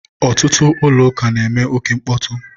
ọtụtụ ụlọ ụka na-eme oke mkpọtụ.